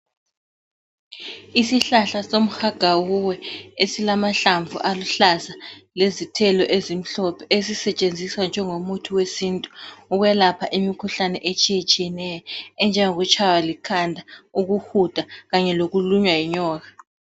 Isihlahla somhagawuwe esilamahlamvu aluhlaza lezithelo ezimhlophe esisetshenziswa njengomuthi wesintu ukwelepha imikhuhlane etshiye tshiyeneyo enjengokutshaywa likhanda, ukuhuda Kanye lokulunywa yinyoka.